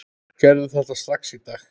Gerðu þetta strax í dag!